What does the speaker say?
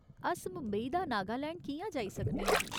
अस मुंबई दा नागालैंड कि'यां जाई सकने आं ?